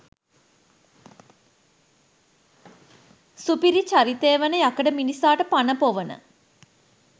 සුපිරි චරිතය වන යකඩ මිනිසාට පණ පොවන.